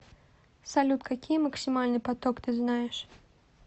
салют какие максимальный поток ты знаешь